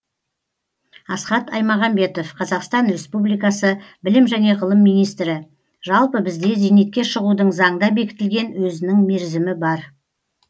асхат аймағамбетов қазақстан республикасы білім және ғылым министрі жалпы бізде зейнетке шығудың заңда бекітілген өзінің мерзімі бар